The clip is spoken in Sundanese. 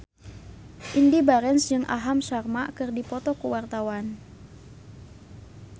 Indy Barens jeung Aham Sharma keur dipoto ku wartawan